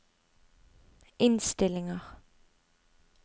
innstillinger